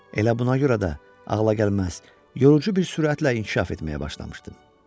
Elə buna görə də ağla gəlməz, yorucu bir sürətlə inkişaf etməyə başlamışdım.